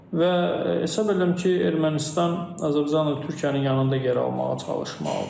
Və hesab edirəm ki, Ermənistan Azərbaycanla Türkiyənin yanında yer almağa çalışmalıdır.